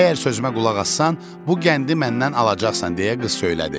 Əgər sözümə qulaq assan, bu qəndi məndən alacaqsan deyə qız söylədi.